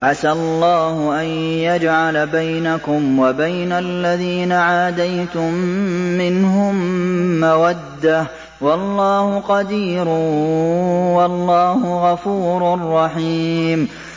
۞ عَسَى اللَّهُ أَن يَجْعَلَ بَيْنَكُمْ وَبَيْنَ الَّذِينَ عَادَيْتُم مِّنْهُم مَّوَدَّةً ۚ وَاللَّهُ قَدِيرٌ ۚ وَاللَّهُ غَفُورٌ رَّحِيمٌ